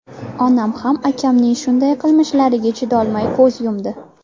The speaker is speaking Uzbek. Onam ham akamning shunday qilmishlariga chidolmay ko‘z yumdi.